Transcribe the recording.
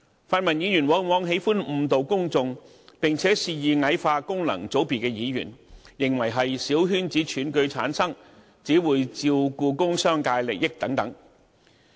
泛民議員往往喜歡誤導公眾，並肆意矮化功能界別議員，認為他們由小圈子選舉產生，只會照顧工商界利益等。